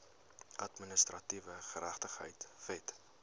administratiewe geregtigheid wet